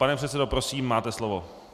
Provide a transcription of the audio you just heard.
Pane předsedo, prosím, máte slovo.